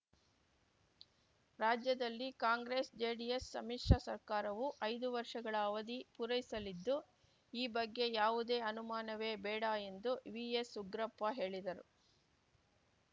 ರಾಜ್ಯದಲ್ಲಿ ಕಾಂಗ್ರೆಸ್‌ಜೆಡಿಎಸ್‌ ಸಮ್ಮಿಶ್ರ ಸರ್ಕಾರವು ಐದು ವರ್ಷಗಳ ಅವಧಿ ಪೂರೈಸಲಿದ್ದು ಈ ಬಗ್ಗೆ ಯಾವುದೇ ಅನುಮಾನವೇ ಬೇಡ ಎಂದು ವಿಎಸ್‌ಉಗ್ರಪ್ಪ ಹೇಳಿದರು